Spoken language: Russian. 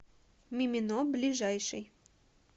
мимино ближайший